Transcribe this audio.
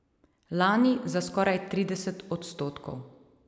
Lani za skoraj trideset odstotkov.